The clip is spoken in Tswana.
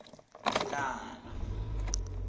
tekano